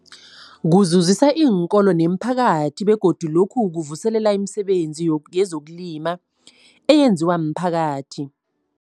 Kuzuzisa iinkolo nemiphakathi begodu lokhu kuvuselela imisebenzi yezokulima eyenziwa miphakathi.